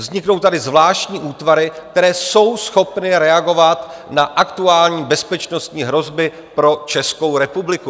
Vzniknou tady zvláštní útvary, které jsou schopny reagovat na aktuální bezpečnostní hrozby pro Českou republiku.